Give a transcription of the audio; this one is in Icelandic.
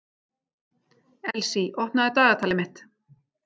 Elsí, opnaðu dagatalið mitt.